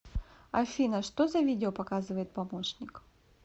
афина что за видео показывает помощник